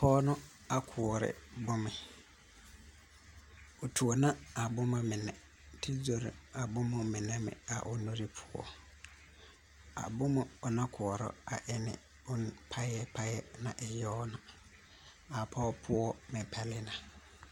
Pɔɔ nu a koɔrɛ bomɛ o tuo na a boma mine te zoro a bomma mɛn a o nure poɔ a bomo o na koɔrɔ a enne bon payɛ payɛ na e yawna a pɔɔ poɔ mɛ pɛle na.